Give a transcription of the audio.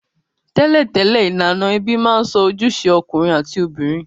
Tẹ́lẹ̀tẹ́lẹ̀, ilànà ebí ma n so ojúse okùnrin àti obìnrin